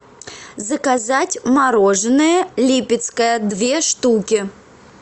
заказать мороженое липецкое две штуки